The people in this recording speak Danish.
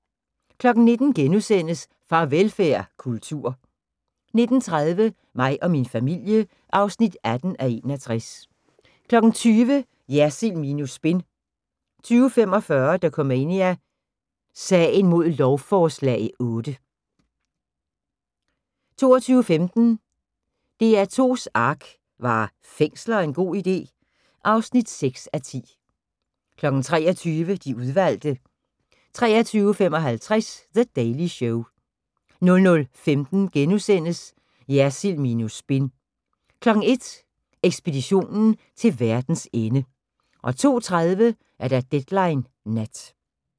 19:00: Farvelfærd: Kultur * 19:30: Mig og min familie (18:61) 20:00: Jersild minus spin 20:45: Dokumania: Sagen mod lovforslag 8 22:15: DR2's Ark - Var fængsler en god ide? (6:10) 23:00: De udvalgte 23:55: The Daily Show 00:15: Jersild minus spin * 01:00: Ekspeditionen til verdens ende 02:30: Deadline Nat